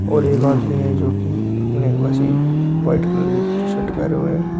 और एक आदमी है जो की अपने वैसी व्हाइट कलर की टीशर्ट पहने हुए हैं।